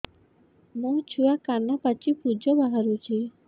ମୋ ଛୁଆ କାନ ପାଚି ପୂଜ ବାହାରୁଚି